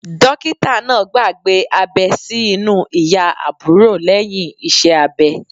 Dókítà náà gbàgbé abẹ́ sí inú ìyá àbúrò lẹ́yìn iṣẹ́ abẹ.